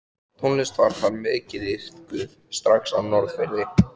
Tónlist var þar mikið iðkuð strax á Norðfirði.